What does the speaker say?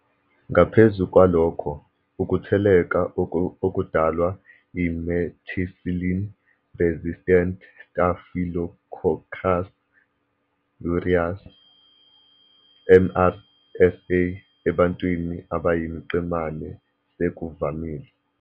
Ngaphezu kwalokho, ukutheleleka okudalwa i-methicillin-resistant Staphylococcus aureus, MRSA, ebantwini abayimiqemane sekuvamile.